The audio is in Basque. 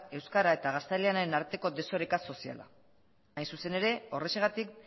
eta euskara eta gaztelaniaren arteko desoreka soziala hain zuzen ere horrexegatik